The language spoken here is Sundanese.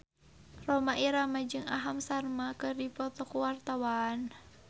Rhoma Irama jeung Aham Sharma keur dipoto ku wartawan